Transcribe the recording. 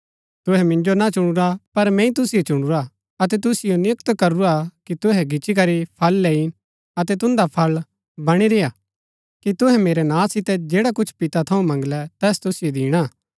तुहै मिन्जो ना चुनुरा पर मैंई तुसिओ चुनुरा अतै तुसिओ नियुक्त करूरा कि तुहै गिच्ची करी फळ लैईन अतै तून्दा फळ बणी रेय्आ कि तुहै मेरै नां सितै जैडा कुछ पिता थऊँ मंगलै तैस तुसिओ दिणा